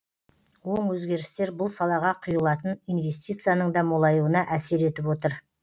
оң өзгерістер бұл салаға құйылатын инвестицияның да молаюына әсер етіп отыр